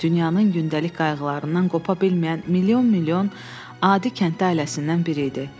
Dünyanın gündəlik qayğılarından qopa bilməyən milyon-milyon adi kənddə ailəsindən biri idi.